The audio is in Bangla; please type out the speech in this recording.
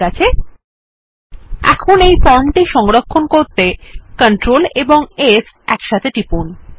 ঠিক আছে এখন এই ফর্ম টি সংরক্ষণ করতে কন্ট্রোল এবং S একসাথে টিপুন